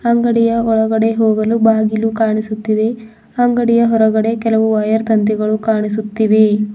ಅಂಗಡಿಯ ಒಳಗಡೆ ಹೋಗಲು ಬಾಗಿಲು ಕಾಣಿಸುತಿವೆ ಅಂಗಡಿಯ ಹೊರಗಡೆ ಕೆಲವು ವ್ಯಯರ್ ತಂತಿಗಳು ಕಾಣಿಸುತ್ತಿವೆ.